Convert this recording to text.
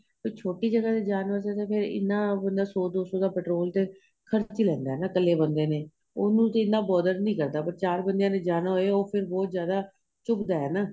ਫ਼ੇਰ ਛੋਟੀ ਜਗਾਂ ਤੇ ਜਾਣ ਵਾਸਤੇ ਤੇ ਫ਼ਿਰ ਇਹਨਾ ਬੰਦਾ ਸ਼ੋ ਦੋ ਸ਼ੋ ਦਾ petrol ਤੇ ਖਰਚ ਲੈਂਦਾ ਏ ਨਾ ਇੱਕਲੇ ਬੰਦੇ ਨੇ ਉਹਨੂੰ ਤੇ ਇਹਨਾ ਨਹੀਂ ਕਰਦਾ but ਚਾਰ ਬੰਦਿਆਂ ਜਾਣਾ ਹੋਵੇ ਉਹ ਫ਼ਿਰ ਬਹੁਤ ਜਿਆਦਾ ਚੁੱਬਦਾ ਏ ਹੈਨਾ